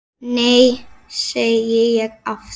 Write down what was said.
Nei, segi ég aftur.